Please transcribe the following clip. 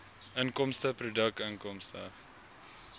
inkomste produkinkomste